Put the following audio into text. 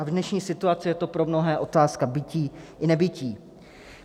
A v dnešní situaci je to pro mnohé otázka bytí i nebytí.